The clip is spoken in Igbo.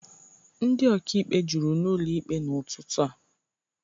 Ndị ọka ikpe juru n'ụlọ ikpe n'ụtụtụ a.